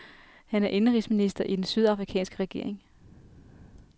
Han er indenrigsminister i den sydafrikanske regering.